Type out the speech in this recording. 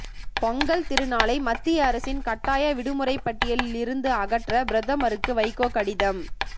பொங்கல் திருநாளை மத்திய அரசின் கட்டாய விடுமுறைப் பட்டியலில் இருந்து அகற்ற பிரதமருக்கு வைகோ கடிதம்